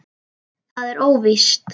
Það er óvíst.